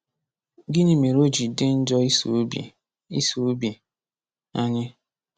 Gịnị mere o ji dị njọ iso obi iso obi anyị?